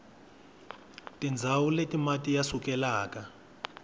tindzawu leti mati ya sukelaka